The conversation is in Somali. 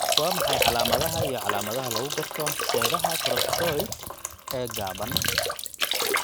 Waa maxay calaamadaha iyo calaamadaha lagu garto seedaha costocoracoid ee gaaban?